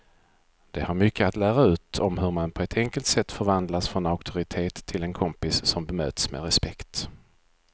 De har mycket att lära ut om hur man på ett enkelt sätt förvandlas från auktoritet till en kompis som bemöts med respekt.